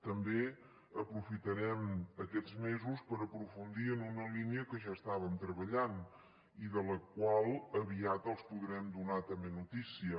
també aprofitarem aquests mesos per aprofundir en una línia que ja estàvem treballant i de la qual aviat els podrem donar també notícia